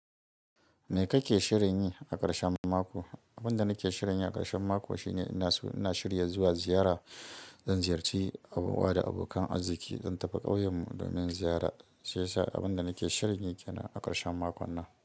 Me kake shirin yi a ƙarshen mako? Abin da nake shirin yi a ƙarshen mako shine ina so ina shirya zuwa ziyara. Zan ziyarci yan uwa da abokan arziki zan tafi ƙauyen mu domin ziyara. Shi yasa abin da nake shirin yi kenan a ƙarshen makon nan.